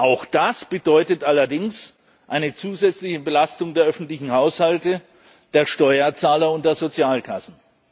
Auch das bedeutet allerdings eine zusätzliche Belastung der öffentlichen Haushalte, der Steuerzahler und der Sozialkassen.